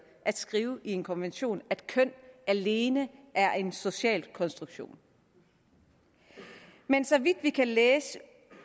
at skrive i en konvention at køn alene er en social konstruktion men så vidt vi kan læse